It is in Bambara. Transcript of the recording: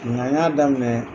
Nka y'a daminɛ